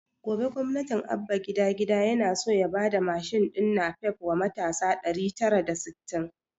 Gobe gwamna abba gida-gida yana so ya bada mashin din napep wa matasa ɗari tara da sittin